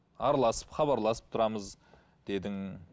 араласып хабарласып тұрамыз дедің